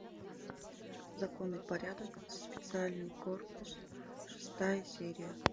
закон и порядок специальный корпус шестая серия